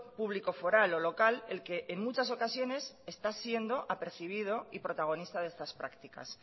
público foral o local el que en muchas ocasiones está siendo apercibido y protagonista de estas prácticas